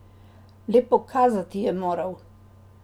Le pokazati je moral.